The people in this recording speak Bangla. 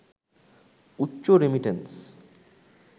উচ্চ রেমিট্যান্স